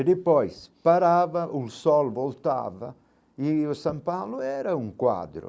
E depois parava, o sol voltava, e o São Paulo era um quadro.